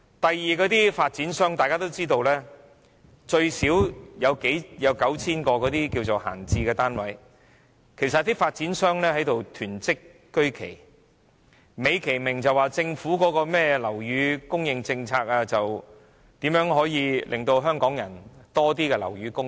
第二，眾所周知，發展商最少有 9,000 個閒置單位，他們其實是在囤積居奇，卻美其名說是政府的樓宇供應政策，旨在增加香港樓宇供應。